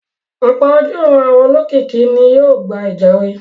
Ọ̀pọ̀ ojúuran àwọn olókìkí ni yóò gba ìjàre.